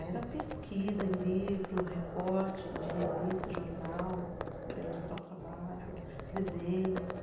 Ah, era pesquisa em livro, recorte de revista e jornal para ilustrar o trabalho, desenhos.